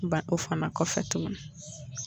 Ban o fana kɔfɛ tuguni.